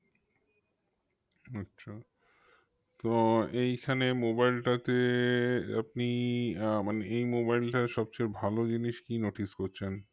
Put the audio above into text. আচ্ছা তো এইখানে mobile টা তে আপনি আহ মানে এই mobile টায় সবচেয়ে ভালো জিনিস কি notice করছেন